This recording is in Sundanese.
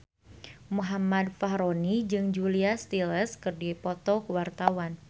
Muhammad Fachroni jeung Julia Stiles keur dipoto ku wartawan